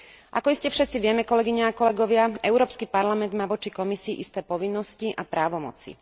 Ako iste všetci vieme, kolegyne a kolegovia, Európsky parlament má voči Komisii isté povinnosti a právomoci.